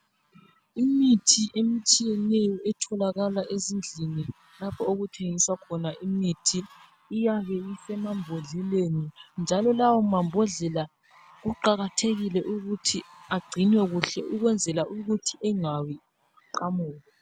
Imithi etshiyeneyo etholakala ezindlini lapho okuthengiswa khona imithi iyabe isemambodleleni njalo lawo mambodlela kuqakathekile ukuthi agcinwe kuhle ukwenzela ukuthi engawi aqamuke.